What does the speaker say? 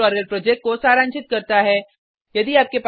यह spoken tutorial project को सारांशित करता है